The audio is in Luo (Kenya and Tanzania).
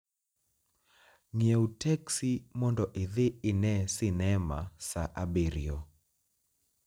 ng'iewo teksi mondo idhi ine sinema saa abiriyo